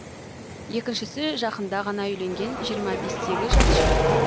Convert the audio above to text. екіншісі жақында ғана үйленген жиырма бестегі жас жігіт